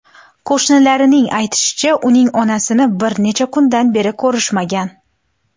Qo‘shnilarining aytishicha, uning onasini bir necha kundan beri ko‘rishmagan.